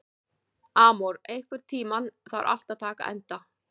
Amor, einhvern tímann þarf allt að taka enda.